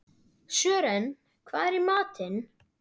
Sören, hvað er í matinn?